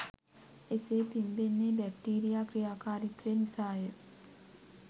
එසේ පිම්බෙන්නේ බැක්ටීරියා ක්‍රියාකාරීත්වය නිසාය.